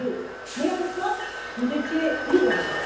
2002. Mais à l'époque, vous étiez libéral.